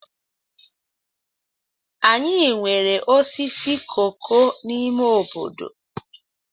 Anyị nwere osisi koko n'ime obodo.